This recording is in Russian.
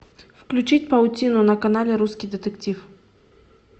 включить паутину на канале русский детектив